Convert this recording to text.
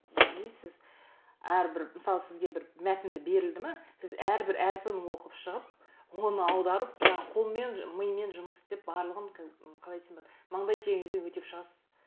яғни сіз әрбір мысалы сізге бір мәтінді берілді ме сіз әрбір әріпін оқып шығып оны аударып жаңағы қолмен мимен жұмыс істеп барлығын м қалай десем болады мандай теріңізбен өтеп шығасыз